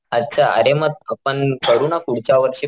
अच्छा आरे म आपण करू ना पुढच्या वर्षी,